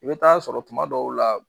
I bɛ taa sɔrɔ tuma dɔw la